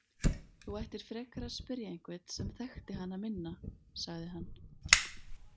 Þú ættir frekar að spyrja einhvern sem þekkti hana minna, sagði hann.